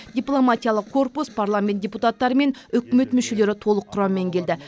дипломатиялық корпус парламент депутаттары мен үкімет мүшелері толық құраммен келді